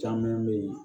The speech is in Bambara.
Caman be ye